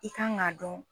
I kan k'a dɔn